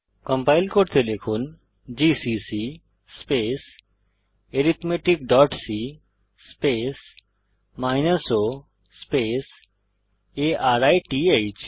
compile করতে লিখুন GCC arithmeticসি o আরিথ